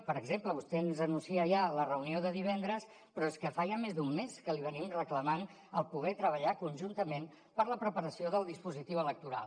per exemple vostè ens anuncia ja la reunió de divendres però és que fa ja més d’un mes que li reclamem el poder treballar conjuntament per la preparació del dispositiu electoral